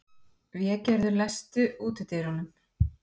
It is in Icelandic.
Végerður, læstu útidyrunum.